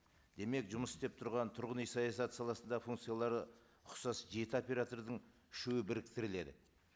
демек жұмыс істеп тұрған тұрғын үй саясаты саласында функциялары ұқсас жеті оператордың үшеуі біріктіріледі